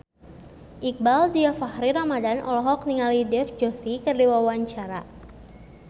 Iqbaal Dhiafakhri Ramadhan olohok ningali Dev Joshi keur diwawancara